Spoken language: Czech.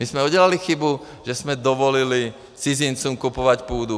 My jsme udělali chybu, že jsme dovolili cizincům kupovat půdu.